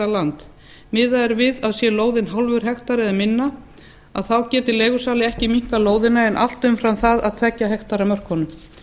land miðað er við að sé lóðin hálfur hektari eða minna geti leigusali ekki minnkað lóðina en allt umfram það að tveggja hektara mörkunum